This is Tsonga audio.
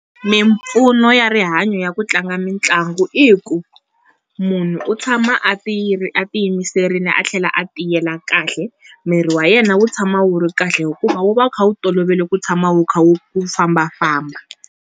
Mimpfuno ya rihanyo ya ku tlanga mitlangu i ku munhu u tshama a ti a ti yimiserile a tlhela a tiyela kahle, mirhi wa yena wu tshama wu ri kahle hikuva wu va wu kha wu tolovele ku tshama wu kha wu wu fambafamba.